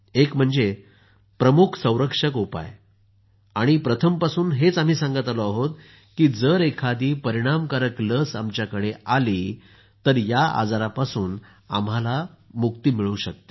एक म्हणजे प्रमुख संरक्षक उपाय आणि आम्ही प्रथमपासून हेच सांगत आलो आहोत की जर एखादी परिणामकारक लस आमच्याकडे आली तर या आजारापासून आम्हाला मुक्ती मिळू शकते